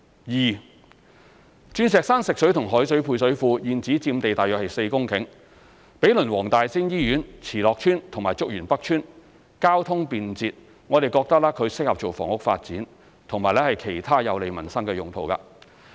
二鑽石山食水及海水配水庫現址佔地約4公頃，毗鄰黃大仙醫院、慈樂邨及竹園北邨，交通便捷，適合房屋發展，以及其他有利民生的用途。